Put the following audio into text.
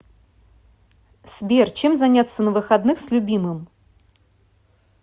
сбер чем заняться на выходных с любимым